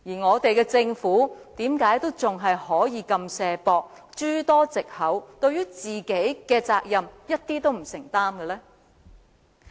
我們的政府為甚麼仍然這麼"卸膊"，諸多藉口，對於其應負的責任一點都不承擔呢？